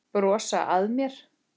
Brosa að mér!